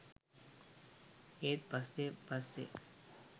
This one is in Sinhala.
ඒත් පස්සෙ පස්සෙ